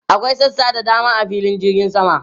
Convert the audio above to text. Akwai sassa da dama a filin jirgin sama.